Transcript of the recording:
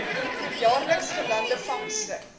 jaarliks gelande vangste